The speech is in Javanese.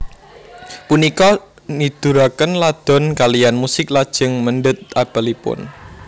Punika niduraken Ladon kaliyan musik lajeng mendhet apelipun